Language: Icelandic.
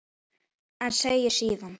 En segir síðan